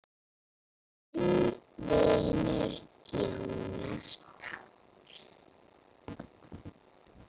Þinn vinur, Jónas Páll.